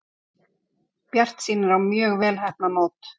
Bjartsýnir á mjög vel heppnað mót